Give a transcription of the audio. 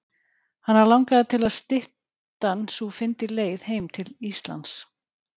Hana langaði til að styttan sú fyndi leið heim til Íslands.